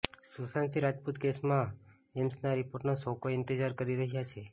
સુશાંત સિંહ રાજપૂત કેસમાં એમ્સના રિપોર્ટનો સૌકોઈ ઈંતેજાર કરી રહ્યા છે